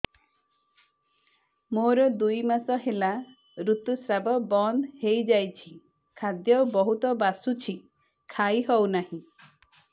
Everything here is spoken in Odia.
ମୋର ଦୁଇ ମାସ ହେଲା ଋତୁ ସ୍ରାବ ବନ୍ଦ ହେଇଯାଇଛି ଖାଦ୍ୟ ବହୁତ ବାସୁଛି ଖାଇ ହଉ ନାହିଁ